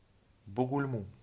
бугульму